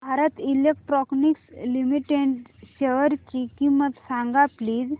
Bharat Electronics Limited शेअरची किंमत सांगा प्लीज